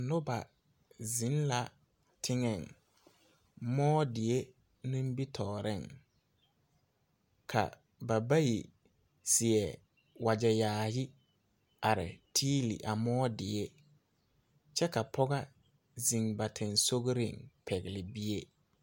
Noba ziŋ la teŋeŋ, mʋɔ die nimi tɔɔreŋ. Bayi seɛ la wagɛ yaayi a are dɛlle kaŋpil die kyɛ ka pɔge ziŋ ba siŋsɔgliŋsɔgɔ a pɛgle bie.